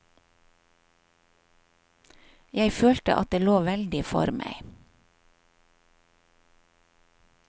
Jeg følte at det lå veldig for meg.